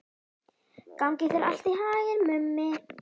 Gangi þér allt í haginn, Mummi.